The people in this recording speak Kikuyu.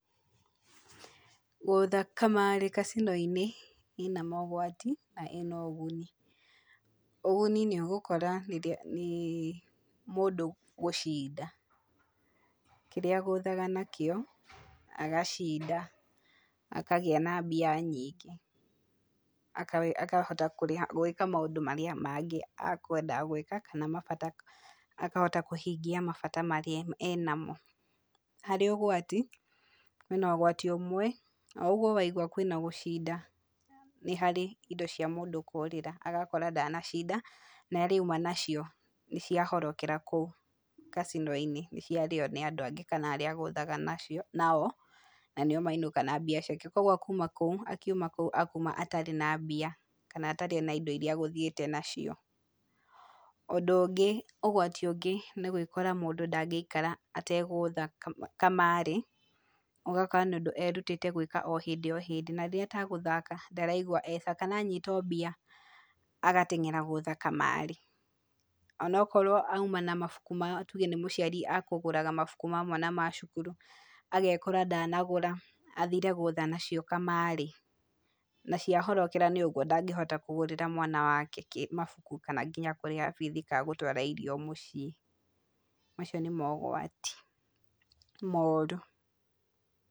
Gũũtha kamarĩ kacino-inĩ, ĩna mogwati na ĩna ũguni, ũguni nĩũgũkora nĩ mũndũ gũcinda, kĩrĩa ũgũthaga na kĩo, agacinda, akagĩa na mbia nyingĩ, aka akahota gwĩka maũndũ marĩa mangĩ akwendaga gwĩka kana mabata akahota kũhingia mabata marĩa ena mo, harĩ ũgwati, ũgwati ũmwe, o ũguo waigwa kwĩ na gũcinda, nĩ harĩ indo cia mũndũ kũrĩra, agakora ndanacinda, na irĩa auma nacio, nĩciahorokera kũu kacino-inĩ, nĩciarĩo nĩ andũ angĩ kana arĩa agũthaga nacio nao, na nĩo mainũka na mbia ciake, koguo akiuma kũu, akuma atarĩ na mbia kana atarĩ na indo irĩa egũthiĩte nacio, ũndũ ũngĩ, ũgwati ũngĩ nĩgwĩkora mũndũ ndangĩikara ategũũtha kamarĩ, ũgakora mũndũ erutĩte gwĩka o hĩndĩ o hĩndĩ narĩrĩa ategũthaka ndaraigua e cs] sawa kana anyita o mbia, agateng'era gũthaka kamarĩ, onokorwo auma na mabuku ma, tuge nĩ mũciari akũgũraga mabuku ma mwana ma cukuru, agekora ndanagũra, athire gũtha nacio kamarĩ, naciahorokera nĩũguo ndangĩhota kũgũrĩra mwana wake kĩ mabuku kana nginya kũrĩha bithi ka gũtwara irio mũciĩ, macio nĩ mogwati, moru.